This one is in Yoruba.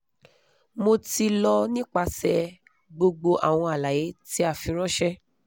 mo ti lọ nipasẹ gbogbo awọn alaye ti a firanṣẹ